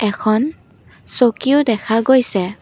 এখন চকীও দেখা গৈছে।